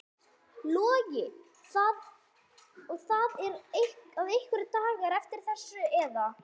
Logi: Og það eru einhverjir dagar eftir að þessu eða?